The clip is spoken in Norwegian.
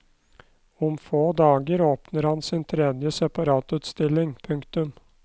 Om få dager åpner han sin tredje separatutstilling. punktum